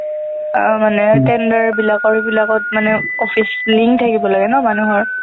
আহ মানে tender বিলাকৰ এইবিলাকত মানে office link থাকিব লাগে ন মানুহৰ